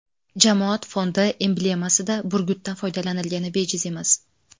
Jamoat fondi emblemasida burgutdan foydalanilgani bejiz emas.